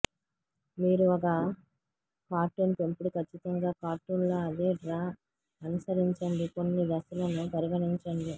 మీరు ఒక కార్టూన్ పెంపుడు ఖచ్చితంగా కార్టూన్ లో అదే డ్రా అనుసరించండి కొన్ని దశలను పరిగణించండి